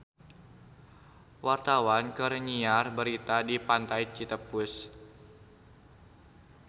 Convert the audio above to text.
Wartawan keur nyiar berita di Pantai Citepus